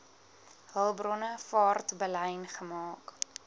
hulpbronne vaartbelyn gemaak